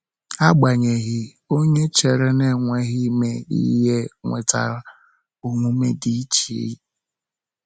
Agbanyeghị, onye chere na-enweghị ime ihe nwetara omume dị iche.